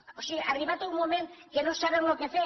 o sigui ha arribat un moment que no saben què fer